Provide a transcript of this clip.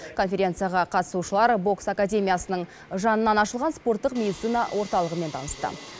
конференцияға қатысушылар бокс академиясының жанынан ашылған спорттық медицина орталығымен танысты